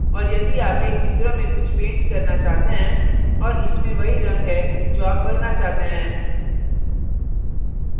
और यदि आप एक picture में कुछ paint करना चाहते हैं और इसमें वही रंग है जो आप भरना चाहते हैं